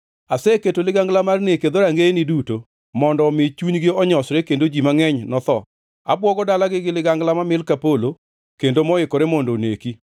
Aseketo ligangla mar nek e dhorangeyeni duto, mondo omi chunygi onyosre kendo ji mangʼeny notho. Abwogo dalagi gi ligangla mamil ka polo, kendo moikore mondo oneki.